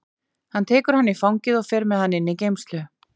Hann tekur hann í fangið og fer með hann inn í geymslu.